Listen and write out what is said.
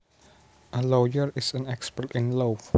A lawyer is an expert in law